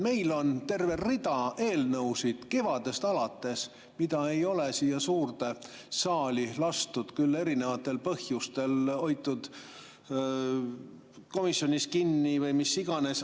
Meil on kevadest alates terve rida eelnõusid, mida ei ole siia suurde saali lastud, küll erinevatel põhjustel, on hoitud komisjonis kinni või mis iganes.